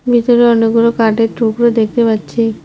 ভিতরে অনেকগুলো কাঠের টুকরো দেখতে পাচ্ছি।